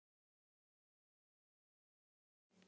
Grjóthálsi